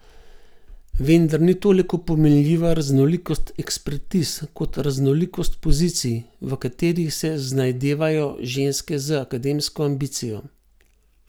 Vendar ni toliko pomenljiva raznolikost ekspertiz kot raznolikost pozicij, v katerih se znajdevajo ženske z akademsko ambicijo.